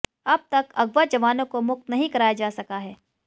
अब तक अगवा जवानों को मुक्त नहीं कराया जा सका है